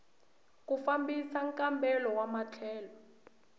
ku fambisa nkambelo wa matlhelo